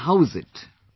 Tell us how is it